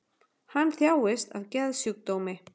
Hann þjáist af geðsjúkdómi